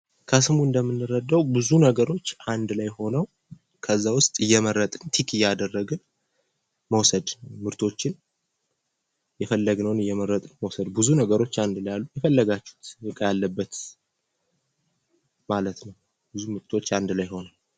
ከስሙ እንደምንረዳው ብዙ ነገሮች አንድ ላይ ሁነው ከዛ ውስጥ እየመረጥን ቲክ እያደረግን መውሰድ ምርቶችን የፈለግነውን እየመረጥን መውሰድ ብዙ ነገሮች አንድ ላይ አሉ። የፈለጋችሁት እቃ ያለበት ማለት ነው ብዙ ምርቶች አንድ ላይ ሁነው።